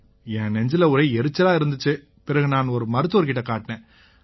என் நெஞ்சுல ஒரே எரிச்சலா இருந்திச்சு பிறகு நான் ஒரு மருத்துவர் கிட்ட காட்டினேன்